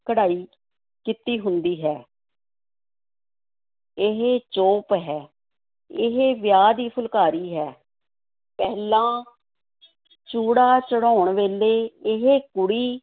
ਕਢਾਈ ਕੀਤੀ ਹੁੰਦੀ ਹੈ ਇਹ ਚੋਪ ਹੈ, ਇਹ ਵਿਆਹ ਦੀ ਫੁਲਕਾਰੀ ਹੈ, ਪਹਿਲਾਂ ਚੂੜਾ ਚੜ੍ਹਾਉਣ ਵੇਲੇ ਇਹ ਕੁੜੀ